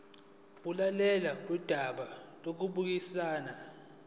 ukulalelwa kodaba lokubuyisana